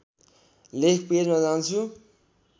लेख पेजमा जान्छु